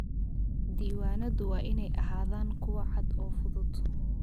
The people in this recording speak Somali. Diiwaanadu waa inay ahaadaan kuwo cad oo fudud.